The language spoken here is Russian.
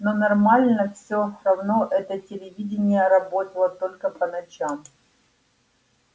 но нормально всё равно это телевидение работало только по ночам